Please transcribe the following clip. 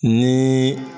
Ni